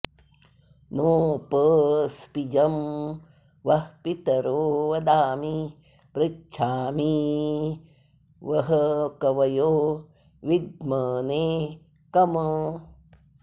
नोप॒स्पिजं॑ वः पितरो वदामि पृ॒च्छामि॑ वः कवयो वि॒द्मने॒ कम्